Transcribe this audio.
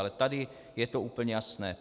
Ale tady je to úplně jasné.